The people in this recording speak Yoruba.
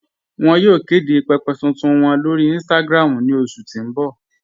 Wọn yóò kede pẹ̀pẹ̀ tuntun wọn lórí Instagram ní oṣù tí n bọ̀